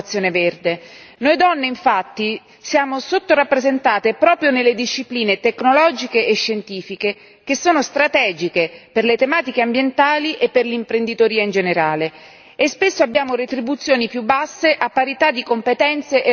Noi donne, infatti, siamo sottorappresentate proprio nelle discipline tecnologiche e scientifiche che sono strategiche per le tematiche ambientali e per l'imprenditoria in generale e spesso abbiamo retribuzioni più basse, a parità di competenze e responsabilità.